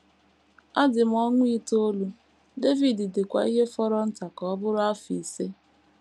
Adị m ọnwa itoolu, David dịkwa ihe fọrọ nta ka ọ bụrụ afọ ise.